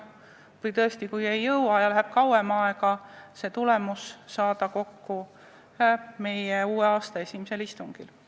Ja tõesti, kui ei jõua ja läheb kauem aega, siis arutame tulemust uue aasta esimesel istungil.